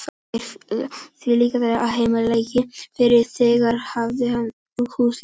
Það er því lykilatriði að heimild liggi fyrir þegar farið er í húsleitir.